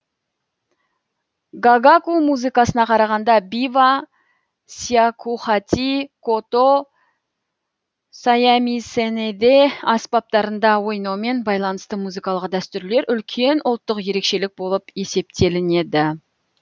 гагаку музыкасына қарағанда бива сякухати кото саямисэнеде аспаптарында ойнаумен байланысты музыкалық дәстүрлер үлкен ұлттық ерекшелік болып есептелінеді